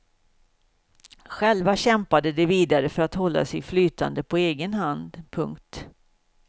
Själva kämpade de vidare för att hålla sig flytande på egen hand. punkt